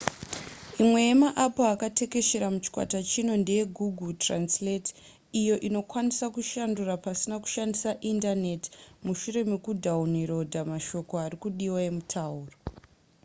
imwe yemaapu akatekeshera muchikwata chino ndeyegoogle translate iyo inoikwanisa kushandura pasina kushandisa indaneti mushure mekudhawunirodha mashoko ari kudiwa emutauro